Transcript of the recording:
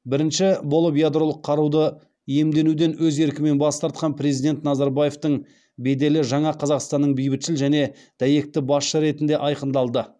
бірінші болып ядролық қаруды иемденуден өз еркімен бас тартқан президент назарбаевтың беделі жаңа қазақстанның бейбітшіл және дәйекті басшысы ретінде айқындалды